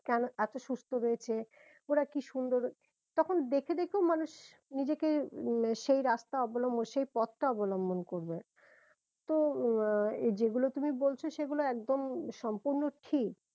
কেন এত সুস্থ হয়েছে ওরা কি সুন্দর তখন দেখে দেখেও মানুষ নিজেকে সেই রাস্তা অবলম্বন সেই পথটা অবলম্বন করবে তো আহ যেগুলো তুমি বলছো সেগুলো একদম সম্পূর্ণ ঠিক